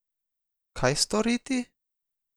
Kaj storiti?